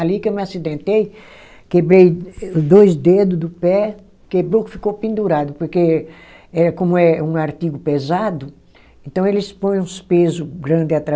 Ali que eu me acidentei, quebrei dois dedo do pé, quebrou que ficou pendurado, porque eh como é um artigo pesado, então eles põem uns peso grande